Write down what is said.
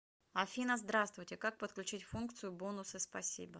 афина здравствуйте как подключить функцию бонусы спасибо